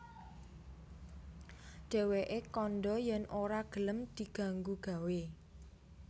Dhèwèké kandha yèn ora gelem diganggu gawé